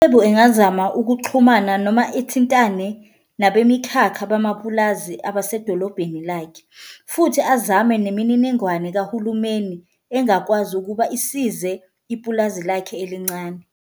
ULebo engazama ukuxhumana noma ithintane nabemikhakha bamapulazi abasedolobheni lakhe futhi azame nemininingwane kahulumeni engakwazi ukuba isize ipulazi lakhe elincane.